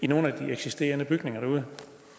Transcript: nogle af de eksisterende bygninger derude